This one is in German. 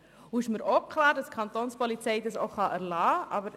Es ist mir auch klar, dass die Kapo die Kosten erlassen kann.